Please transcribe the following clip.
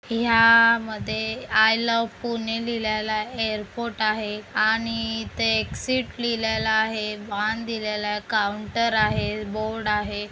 या मध्ये I love Pune लिहिलेला ऐरपोर्ट आहे आणि इथे एक सीट लिहिलेला आहे बाण दिलेलं आहे काऊंटर आहे बोर्ड आहे.